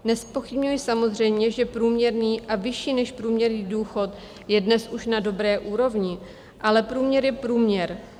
Nezpochybňuji samozřejmě, že průměrný a vyšší než průměrný důchod je dnes už na dobré úrovni, ale průměr je průměr.